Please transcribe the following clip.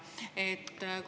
Aitäh!